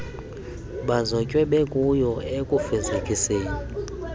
bazotywe bekuyo ekufezekiseni